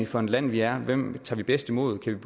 for et land vi er og hvem vi tager bedst imod kan